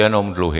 Jenom dluhy.